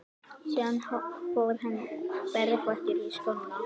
Síðan fór hann berfættur í skóna.